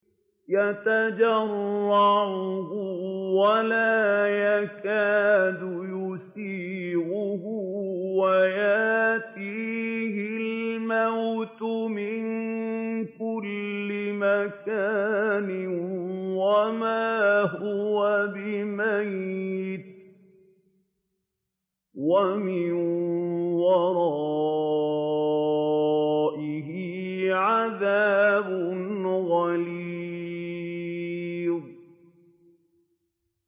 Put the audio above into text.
يَتَجَرَّعُهُ وَلَا يَكَادُ يُسِيغُهُ وَيَأْتِيهِ الْمَوْتُ مِن كُلِّ مَكَانٍ وَمَا هُوَ بِمَيِّتٍ ۖ وَمِن وَرَائِهِ عَذَابٌ غَلِيظٌ